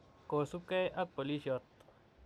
kosubgei ak polisiot.